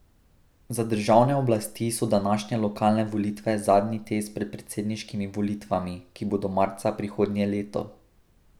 Za državne oblasti so današnje lokalne volitve zadnji test pred predsedniškimi volitvami, ki bodo marca prihodnje leto.